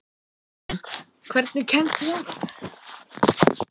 Muninn, hvernig kemst ég þangað?